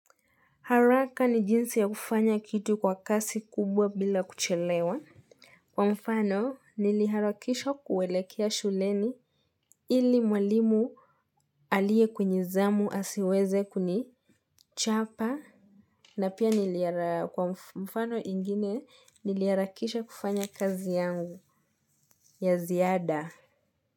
Haraka ni jinsi ya kufanya kitu kwa kasi kubwa bila kuchelewa. Kwa mfano, niliharakisha kuelekea shuleni ili mwalimu aliye kwenye zamu asiweze kunichapa. Na pia kwa mfano ingine niliharakisha kufanya kazi yangu ya ziada.